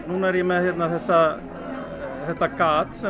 núna er ég með þetta þetta gat sem